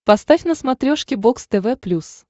поставь на смотрешке бокс тв плюс